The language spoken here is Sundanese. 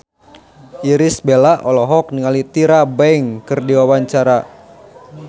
Irish Bella olohok ningali Tyra Banks keur diwawancara